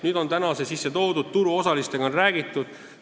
Nüüd on see sisse toodud, turuosalistega on räägitud.